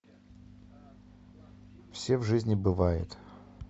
все в жизни бывает